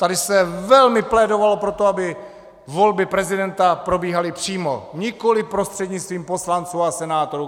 Tady se velmi plédovalo pro to, aby volby prezidenta probíhaly přímo, nikoli prostřednictvím poslanců a senátorů.